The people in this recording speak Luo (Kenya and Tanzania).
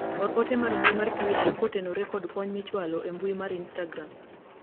or te mar mbui mar twita kotenore kod kony michwalo e mbui mar instagram